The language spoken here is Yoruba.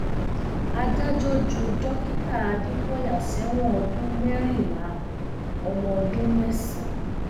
adájọ ju dókítà adékọyà sẹwọn ọdún mẹrìnlá ọmọ ọdún mẹsàn